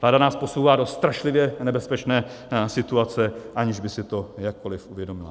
Vláda nás posouvá do strašlivě nebezpečné situace, aniž by si to jakkoli uvědomila.